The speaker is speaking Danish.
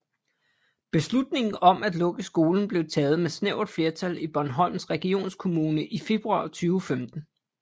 Beslutningen om at lukke skolen blev taget med snævert flertal i Bornholms Regionskommune i februar 2015